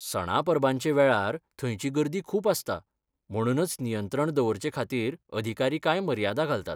सणा परबांचे वेळार, थंयची गर्दी खूब आसता, म्हणूनच नियंत्रण दवरचे खातीर अधिकारी कांय मर्यादा घालतात.